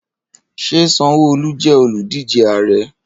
Ṣé Sanwoolu jẹ́ olùdíje ààrẹ́?